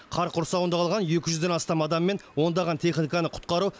қар құрсауында қалған екі жүзден астам адам мен ондаған техниканы құтқару